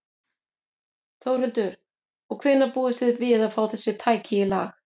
Þórhildur: Og hvenær búist þið við að fá þessi tæki í lag?